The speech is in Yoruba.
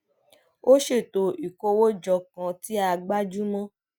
a ṣètò ìkówójọ kan tí a gbájú mó